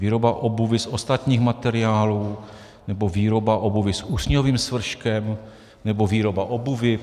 Výroba obuvi z ostatních materiálů nebo výroba obuvi s usňovým svrškem, nebo výroba obuvi.